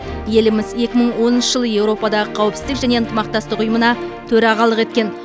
еліміз екі мың оныншы жылы еуропадағы қауіпсіздік және ынтымақтастық ұйымына төрағалық еткен